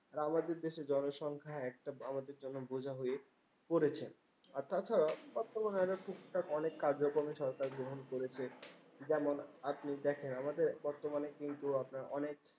আমাদের দেশের জনসংখ্যা একটা আমাদের জন্য বোঝা হয়ে পড়েছে। অর্থাৎ, বর্তমানে একটা টুকটাক অনেক কার্যক্রমে গ্রহণ করেছে। যেমন আপনি দেখেন আমাদের বর্তমানে কিন্তু আপনার অনেক